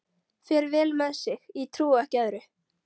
Fer vel með sig, ég trúi ekki öðru.